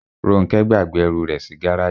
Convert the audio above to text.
Róńkẹ́ gbàgbé ẹrù rẹ̀ sí gáràjì.